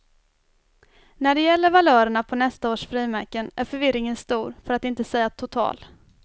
När det gäller valörerna på nästa års frimärken är förvirringen stor för att inte säga total.